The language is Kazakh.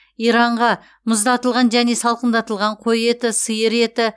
иранға мұздатылған және салқындатылған қой еті сиыр еті